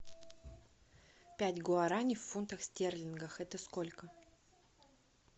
пять гуарани в фунтах стерлингах это сколько